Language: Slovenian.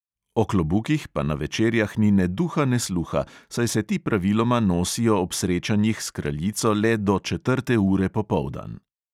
O klobukih pa na večerjah ni ne duha ne sluha, saj se ti praviloma nosijo ob srečanjih s kraljico le do četrte ure popoldan.